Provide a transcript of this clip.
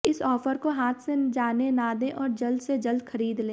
इस ऑफर को हाथ से जानें ना दें और जल्द से जल्द खरीद लें